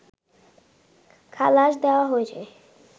খালাস দেয়া হয়েছে